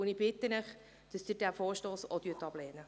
Ich bitte Sie, diesen Vorstoss ebenfalls abzulehnen.